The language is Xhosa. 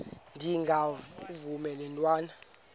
ndengakuvaubuse laa ntwana